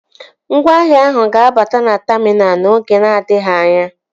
Ngwaahịa ahụ ga-abata na taminal n'oge na-adịghị anya